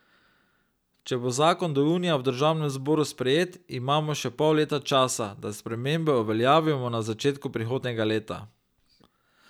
Če bo zakon do junija v državnem zboru sprejet, imamo še pol leta časa, da spremembe uveljavimo na začetku prihodnjega leta.